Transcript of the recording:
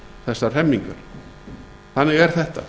þessar hremmingar þannig er þetta